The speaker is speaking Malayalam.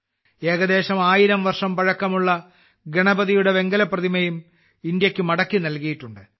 ഏകദേശം ആയിരം വർഷം പഴക്കമുള്ള ഗണപതിയുടെ വെങ്കല പ്രതിമയും ഇന്ത്യയ്ക്ക് മടക്കിനൽകിയിട്ടുണ്ട്